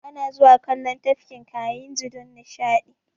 Ana zuwa kallon Tafkin Kayinji don nishaɗi